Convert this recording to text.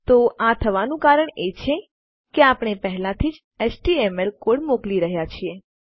તો આ થવાનું કારણ એ છે કે આપણે પહેલાથી જ આપણો એચટીએમએલ એચટીએમએલ કોડ મોકલી રહ્યાં છીએ